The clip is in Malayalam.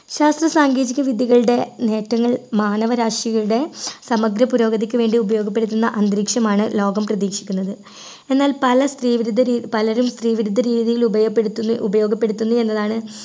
ശാസ്ത്ര സാങ്കേതിക വിദ്യകളുടെ നേട്ടങ്ങൾ മാനവരാശിയുടെ സമഗ്ര പുരോഗതിക്കു വേണ്ടി ഉപയോഗപ്പെടുത്തുന്ന അന്തരീക്ഷമാണ് ലോകം പ്രതീക്ഷിക്കുന്നത് എന്നാൽ പല സ്ത്രീവിരുദ്ധ രീ പലരും സ്ത്രീവിരുദ്ധ രീതികൾ ഉപയോഗപ്പെടുത്തുന്ന ഉപയോഗപ്പെടുത്തുന്നു എന്നതാണ്